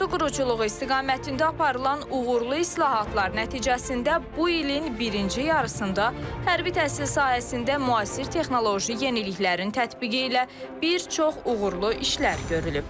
Ordu quruculuğu istiqamətində aparılan uğurlu islahatlar nəticəsində bu ilin birinci yarısında hərbi təhsil sahəsində müasir texnoloji yeniliklərin tətbiqi ilə bir çox uğurlu işlər görülüb.